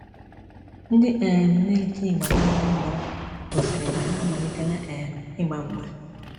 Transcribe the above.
Ndị um na-eti ịgba na Anambra gosiri na ha amalitela um ịgba mgba.